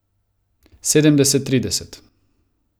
Sedemdeset trideset.